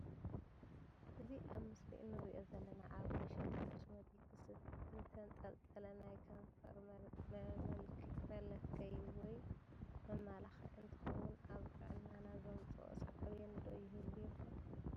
እዚ አብምስሊ እንሪኦ ዘለና አብ መሸጢ ኮስሞቲክስ ዝተንጠልጠለ ናይ ከንፈር መልከይ (መመላክዒ) እንትከውን አብ ጥዕናና ዘምፀኦ ሰዓቤን ዶ ይህሉ ይከውን?